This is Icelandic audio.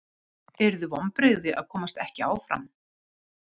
Yrðu vonbrigði að komast ekki áfram?